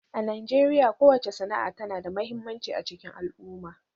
A Najeriya, kowace sana'a tana da mahimmanci a cikin al'umma.